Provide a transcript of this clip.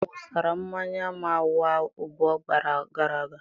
Tebụl akụkụ ahụ wụsara mmanya m awa abụọ gara aga.